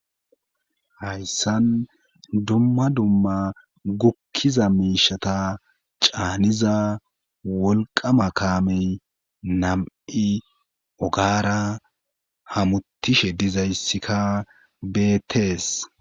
Hayssan dumma dumma gukkiza miishata caaniza wolqama kaamey nam7i ogara hamutishe dizayssikka beettees.